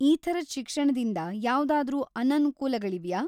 ಈ ಥರದ್ ಶಿಕ್ಷಣದಿಂದ ಯಾವ್ದಾದ್ರೂ ಅನನುಕೂಲಗಳಿವ್ಯಾ?